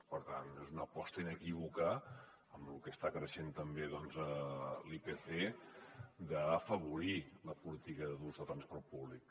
per tant és una aposta inequívoca amb lo que està creixent també doncs l’ipc d’afavorir la política de l’ús del transport públic